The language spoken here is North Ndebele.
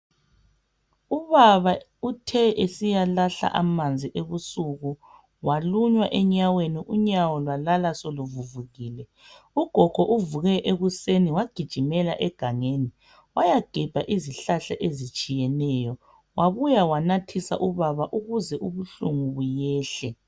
Ubaba uthe esiyalahla amanzi ebusuku walunywa enyaweni, unyawo lwalala soluvuvukile. Ugogo uvuke ekuseni wagijimela egangeni wayagebha izihlahla ezitshiyeneyo, wabuya wanathisa ubaba ukuze ubuhlungu buyehle.